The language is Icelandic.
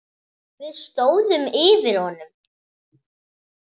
Við stóðum yfir honum.